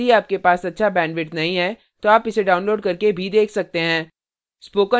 यदि आपके पास अच्छा bandwidth नहीं है तो आप इसे download करके देख सकते हैं